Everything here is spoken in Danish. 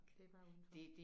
Det bare udenfor